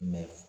Mɛ